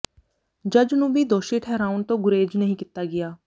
ਜੱਜ ਨੂੰ ਭੀ ਦੋਸ਼ੀ ਠਹਿਰਾਉਣ ਤੋ ਗੁਰੇਜ ਨਹੀਂ ਕੀਤਾ ਗਿਆ